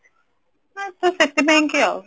ଆଁ ସେଥିପାଇଁ କି ଆଉ